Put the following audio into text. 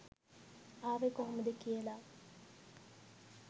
ආවෙ කොහොමද කියල.